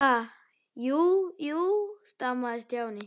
Ha- jú, jú stamaði Stjáni.